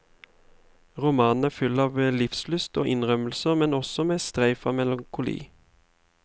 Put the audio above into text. Romanen er full av livslyst og innrømmelser, men også med streif av melankoli.